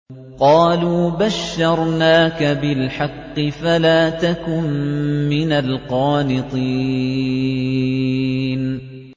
قَالُوا بَشَّرْنَاكَ بِالْحَقِّ فَلَا تَكُن مِّنَ الْقَانِطِينَ